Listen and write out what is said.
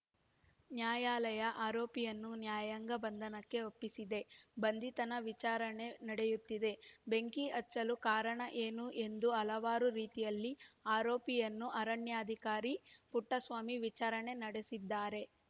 ನ್ಯಾಯಾಲಯ ಆರೋಪಿಯನ್ನು ನ್ಯಾಯಾಂಗ ಬಂಧನಕ್ಕೆ ಒಪ್ಪಿಸಿದೆ ಬಂಧಿತನ ವಿಚಾರಣೆ ನಡೆಯುತ್ತಿದೆ ಬೆಂಕಿ ಹಚ್ಚಲು ಕಾರಣ ಏನು ಎಂದು ಹಲವಾರು ರೀತಿಯಲ್ಲಿ ಆರೋಪಿಯನ್ನು ಅರಣ್ಯಾಧಿಕಾರಿ ಪುಟ್ಟಸ್ವಾಮಿ ವಿಚಾರಣೆ ನಡೆಸಿದ್ದಾರೆ